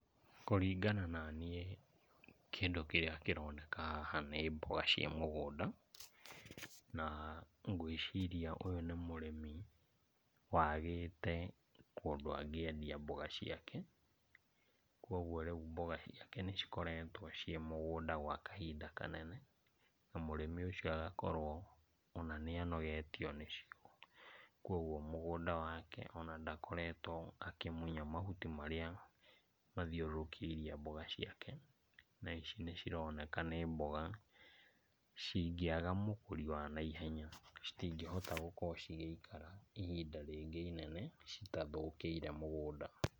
Kũringana naniĩ kĩndũ kĩrĩa kĩroneana haha nĩ mboga cia mũgũnda, na ngwĩciria ũyũ nĩ mũrĩmi wagĩte kũndũ angĩendia mboga ciake. Kuoguo rĩu mboga ciake nĩ cikroetwo ciĩ mũgũnda gwa kahinda kanene na mũrĩmi ũcio agakorwo ona nĩanogetio nĩcio, kuoguo mũgũnda wake ona ndakoretwo akĩmunya mauti marĩa mathiũrũkĩirie mboga ciake, na ici nĩcironeka nĩ mboga cingĩaga mũgũri wa naihenya, citingĩhota gũkorwo cigĩikara ihinda rĩngĩ inene citathũkĩire mũgũnda.